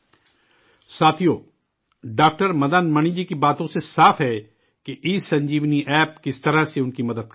ساتھیو، ڈاکٹر مدن منی جی کی باتوں سے صاف ہے کہ ای سنجیونی ایپ کس طرح ان کی مدد کر رہا ہے